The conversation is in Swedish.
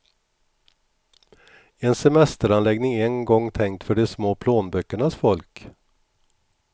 En semesteranläggning en gång tänkt för de små plånböckernas folk.